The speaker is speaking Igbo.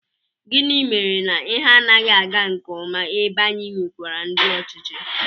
Gịnị mere na ihe anaghị aga nke ọma ebe anyị nwekwara ndị ọchịchị?